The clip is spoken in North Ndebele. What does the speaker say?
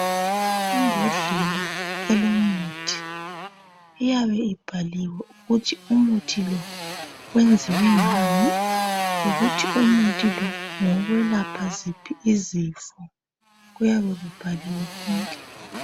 imbodlela elomuthi iyabe ibhaliwe ukuthi umuthi lo wenziwe ngani lokuthi umuthi lo ngowokwelapha ziphi izifo kuyabe kubhaliwe konke